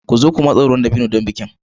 Ku zo ku matsa ruwan dabino don bikin.